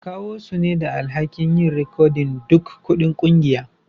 Akawu su ne da alhaki'n yin rikodin duk kuɗin kungiyan.